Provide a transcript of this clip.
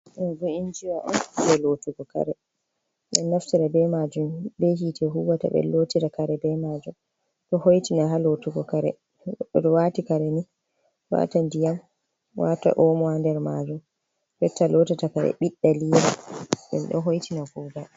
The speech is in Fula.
Ɗoobo injiwa'on jee lootugo Kareem. Ɓeɗo naftira be majum be hiite huuwata ɓeen lootira kare be maajum.ɗo hooitina ha lootugo kare, to waati kareni watan ndiyam, wata omo ha nder majum jotta lootota karee ɓidɗa liira ɗum ɗo hooitina Kuugal.